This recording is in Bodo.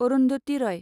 अरुन्धति रय